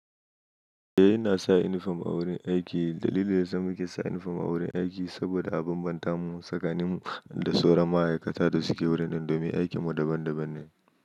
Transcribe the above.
Eh, ina sa uniform a wurin aiki. Dalilin da yasa muke saka inifom a wurin aiki saboda a bambanta mu tsakanin mu da sauran ma'aikata da suke wurin don me aikin mu daban daban ne.